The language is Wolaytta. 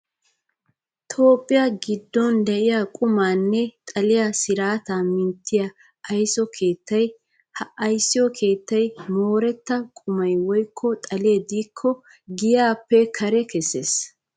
Toophphiyaa giddon diyaa qumaanne xaliyaa siraataa minttiyaa ayiso keettaa. Ha ayiso keettayi mooretta qumayi woyikko xalee diikoo giyaappe kare kesses.